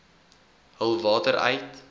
hul water uit